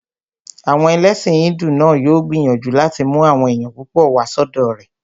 Àwọn ẹlẹ́sìn hídù náà yóò gbìyànjú láti mú àwọn èèyàn púpọ̀ wá sọ́dọ̀ rẹ̀